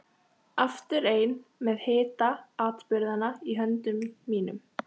Aftur ein með hita atburðanna í höndum mínum.